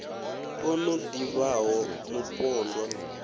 o no ḓi vhaho mupondwa